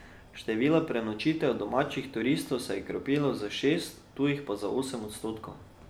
Število prenočitev domačih turistov se je okrepilo za šest, tujih pa za osem odstotkov.